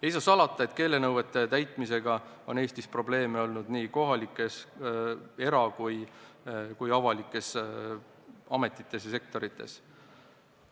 Ei saa salata, et keelenõuete täitmisega on Eestis probleeme olnud nii kohalikes omavalitsustes, erasektoris kui ka avalikes ametites, üldse avalikus sektoris.